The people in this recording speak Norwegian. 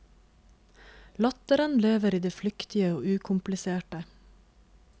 Latteren lever i det flyktige og ukompliserte.